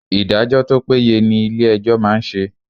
Ìdájọ́ tó péye ni ilé ẹjọ́ máa ń ṣe.